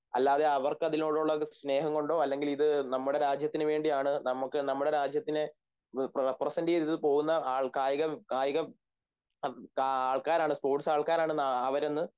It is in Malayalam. അല്ലാതെ അവർക്കതിനോടുള്ള സ്‌നേഹംകൊണ്ടോ അല്ലെങ്കിൽ ഇത് നമ്മുടെ രാജ്യത്തിനുവേണ്ടിയാണ് നമുക്ക് നമ്മുടെ രാജ്യത്തിനെ റെപ്രെസെൻ്റ് ചെയ്തു പോകുന്ന ആൾക്കാരാണ് സ്പോർട്സ് ആൾക്കാരാണെന്ന് അവരെന്ന്